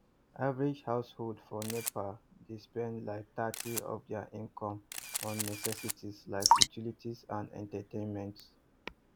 average household for nepa dey spend like thirty of dia income on necessities like utilities and entertainment